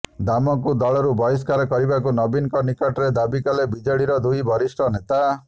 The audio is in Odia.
ଦାମଙ୍କୁ ଦଳରୁ ବହିଷ୍କାର କରିବାକୁ ନବୀନଙ୍କ ନିକଟରେ ଦାବି କଲେ ବିଜେଡିର ଦୁଇ ବରିଷ୍ଠ ନେତା